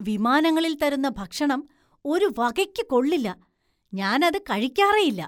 വിമാനങ്ങളില്‍ തരുന്ന ഭക്ഷണം ഒരു വകയ്ക്ക് കൊള്ളില്ല, ഞാന്‍ അത് കഴിക്കാറേയില്ല.